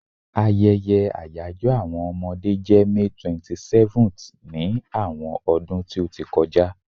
Ayeye àyajo àwọn Omode je May 27th ni àwọn ọdún ti o ti kọja